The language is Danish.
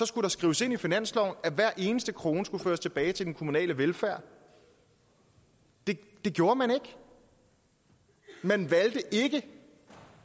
skulle det skrives ind i finansloven at hver eneste krone skulle føres tilbage til den kommunale velfærd det gjorde man ikke